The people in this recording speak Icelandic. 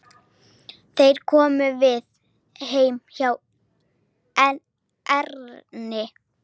Þeir komu við heima hjá Erni.